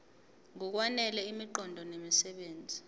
ngokwanele imiqondo nemisebenzi